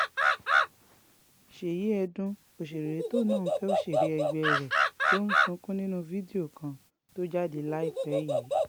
ṣèyí ẹdùn òṣèré tóun náà fẹ́ òṣèré ẹgbẹ́ um rẹ̀ ló ń sunkún nínú fídíò kan um tó jáde láìpẹ́ yìí